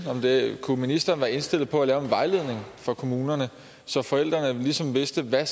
kunne ministeren være indstillet på at lave en vejledning for kommunerne så forældrene ligesom vidste hvad